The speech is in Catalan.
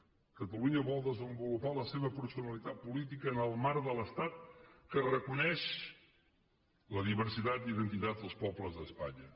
catalunya vol desenvolupar la seva personalitat política en el marc de l’estat que reconeix la diversitat d’identitats dels pobles d’espanya